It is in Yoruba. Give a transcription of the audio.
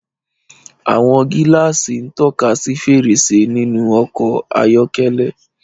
Àwọn gíláàsì ń tọ́ka sí fèrèsé nínú ọkọ̀ ayọ́kẹ́lẹ́.